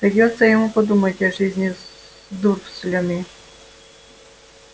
придётся ему подумать о жизни с дурслями